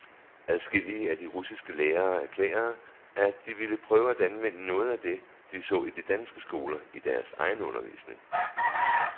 Adskillige af de russiske lærere erklærede, at de ville prøve at anvende noget af det, de så i de danske skoler, i deres egen undervisning.